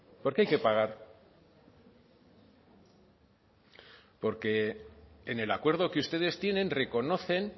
por qué hay que pagar porque en el acuerdo que ustedes tienen reconocen